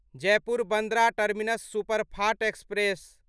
Jaipur Bandra terminus superfast express